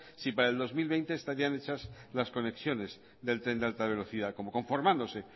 si para el dos mil veinte estarían hechas las conexiones del tren de alta velocidad como conformándose